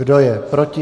Kdo je proti?